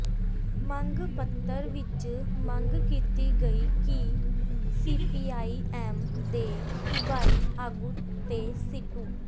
ਮੰਗ ਪੱਤਰ ਵਿਚ ਮੰਗ ਕੀਤੀ ਗਈ ਕਿ ਸੀਪੀਆਈ ਐੱਮ ਦੇ ਸੂਬਾਈ ਆਗੂ ਤੇ ਸੀਟੂ